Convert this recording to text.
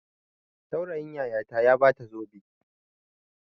Saurayin yayata ya ba ta zobe.